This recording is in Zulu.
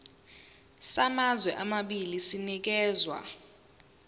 samazwe amabili sinikezwa